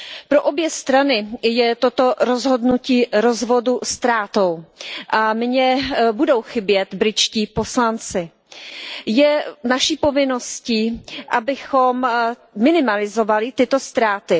Pro obě strany je toto rozhodnutí rozvodu ztrátou a mně budou chybět britští poslanci. Je naší povinností, abychom minimalizovali tyto ztráty.